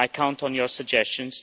I count on your suggestions.